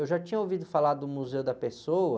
Eu já tinha ouvido falar do Museu da Pessoa,